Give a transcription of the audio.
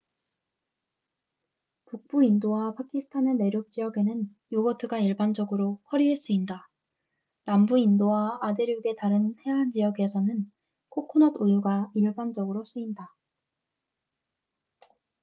북부 인도와 파키스탄의 내륙 지역에는 요거트가 일반적으로 커리에 쓰인다 남부 인도와 아대륙의 다른 해안 지역에서는 코코넛 우유가 일반적으로 쓰인다